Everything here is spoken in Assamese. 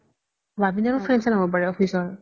ববিন ৰ friend শ্ৰেন্দ হ'ব পাৰে office ৰ